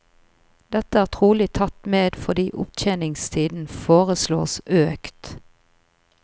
Dette er trolig tatt med fordi opptjeningstiden foreslås økt.